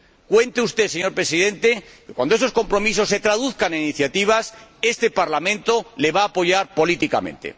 Cuente usted, señor Presidente, con que, cuando esos compromisos se traduzcan en iniciativas, este Parlamento le va a apoyar políticamente.